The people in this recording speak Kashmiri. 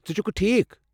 ژٕ چھكھہٕ ٹھیكھ ؟